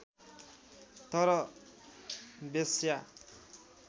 तर वेश्या